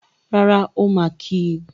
Rárá, ó máa kí í.